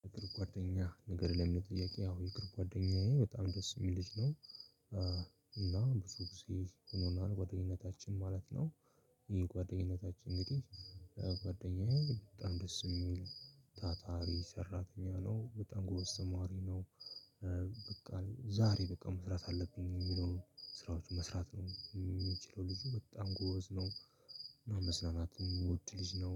የሀገር ጓደኛ ንገር? ለሚለው ጥያቄ ያው የሀገር ጓደኛዬ በጣም ደስ የሚል ልጅ ነው እና ብዙ ጊዜ ሆኖናል ጓደኝነታችን ማለት ነው ይሄ ጓደኝነታችን እንግዲህ ጓደኛዬ በጣም ደስ የሚል ታታሪ ሰራተኛ ነው፤ በጣም ጎበዝ ተማሪ ነው። በቃ ዛሬ በቃ መስራት አለብኝ የሚለውን ስራዎች መስራት ነው የሚችለው ልጁ በጣም ጎበዝ ነው፤ መዝናናትን የሚወድ ልጅ ነው።